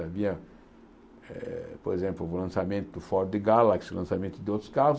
Havia, eh por exemplo, o lançamento do Ford Galaxy, o lançamento de outros carros.